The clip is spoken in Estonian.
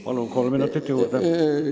Palun, kolm minutit juurde!